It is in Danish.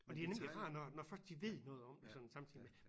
Og det er nemlig rart når når når først de ved noget om det sådan samtidig med